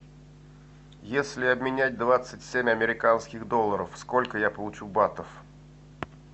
если обменять двадцать семь американских долларов сколько я получу батов